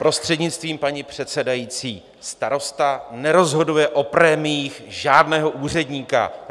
... prostřednictvím paní předsedající, starosta nerozhoduje o prémiích žádného úředníka.